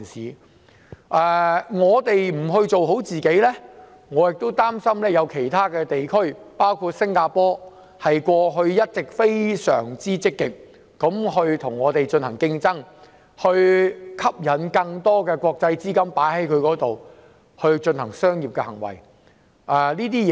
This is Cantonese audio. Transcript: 如果我們不做好自己，我擔心會落後於其他地區，包括一直非常積極與香港競爭，吸引國際資金進行商業投資的新加坡。